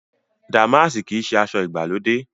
Dàmáàsì kìí ṣe aṣọ ìgbàlódé